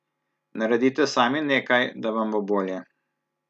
Naredite sami nekaj, da vam bo bolje.